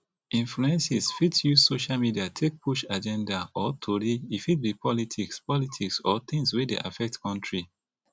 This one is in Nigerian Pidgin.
influences fit use social media take push agenda or tori e fit be politics politics or things wey dey affect country